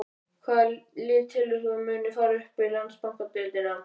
Hvaða lið telur þú að muni fara upp í Landsbankadeildina?